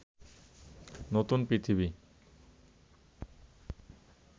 নতুন পৃথিবী